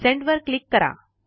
send वर click करा